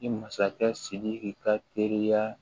Ni masakɛ sidiki ka teriya